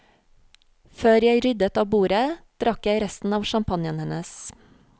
Før jeg ryddet av bordet, drakk jeg resten av champagnen hennes.